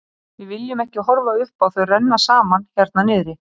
Við viljum ekki horfa upp á þau renna saman hérna niðri.